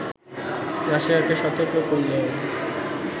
রাশিয়াকে সতর্ক করলেও